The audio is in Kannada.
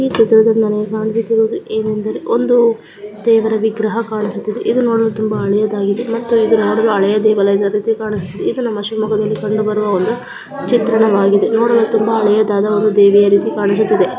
ಈ ಚಿತ್ರದಲ್ಲಿ ನಮಗೆ ಕಾಣಿಸುತ್ತಿರುವುದು ಏನು ಎಂದರೆ ಒಂದು ದೇವರ ವಿಗ್ರಹ ಕಾಣಿಸುತ್ತಿದೆ ಇದು ನೋಡಲು ಹಳೆಯ ದೇಗುಲ ಇರುವ ರೀತಿ ಕಾಣುತ್ತಿದೆ ಇದು ನಮ್ಮ ಶಿವಮೊಗ್ಗದಲ್ಲಿ ಕಂಡುಬರುವ ಒಂದು ಚಿತ್ರಣವಾಗಿದೆ ನೋಡಲು ತುಂಬಾ ಹಳೆಯದಾದ ಒಂದು ದೇವಿಯ ರೀತಿ ಕಾಣಿಸುತ್ತಿದೆ. .